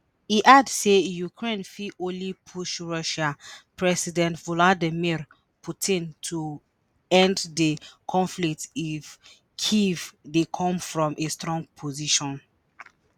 e add say ukraine fit only push russian president vladimir putin to end di conflict if kyiv dey come from a "strong position".